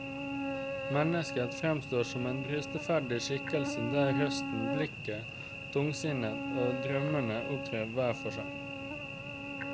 Mennesket fremstår som en bristeferdig skikkelse der røsten, blikket, tungsinnet og drømmene opptrer hver for seg.